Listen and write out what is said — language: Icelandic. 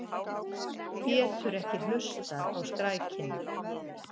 Getur ekki hlustað á skrækina.